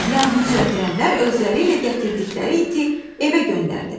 Yanğınsöndürənlər özləri ilə gətirdikləri iti evə göndərdilər.